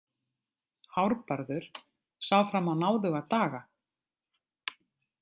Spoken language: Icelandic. Hárbarður sá fram á náðuga daga.